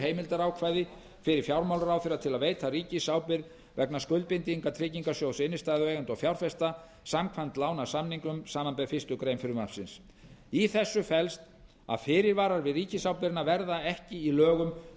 heimildarákvæði fyrir fjármálaráðherra til að veita ríkisábyrgð vegna skuldbindinga tryggingarsjóðs innstæðueigenda og fjárfesta samkvæmt lánasamningunum samanber fyrstu grein frumvarpsins í þessu felst að fyrirvarar við ríkisábyrgðina verða ekki í lögum